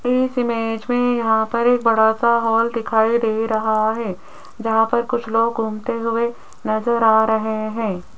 इस इमेज में यहां पर एक बड़ासा हॉल दिखाई दे रहां हैं जहां पर कुछ लोग घूमते हुए नजर आ रहें हैं।